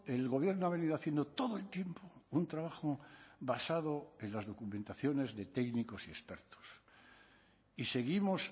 el gobierno ha venido haciendo todo el tiempo un trabajo basado en las documentaciones de técnicos y expertos y seguimos